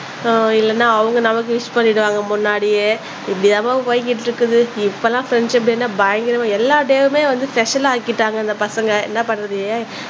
இல்லன்னா அவங்க நமக்கு விஷ் பண்ணிடுவாங்க முன்னாடியே இப்படி தான்மா போய்கிட்டு இருக்குது இப்பலாம் ஃப்ரண்ட்ஷிப் டேன்னா பயங்கரமா எல்லா டேயுமே வந்து ஸ்பெஷல் ஆக்கிட்டாங்க இந்த பசங்க என்ன பண்றது